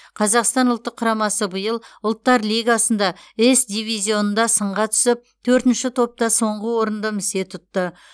қазақстан ұлттық құрамасы биыл ұлттар лигасында с дивизионында сынға түсіп төртінші топта соңғы орынды місе тұтты